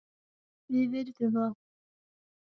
Við virðum það.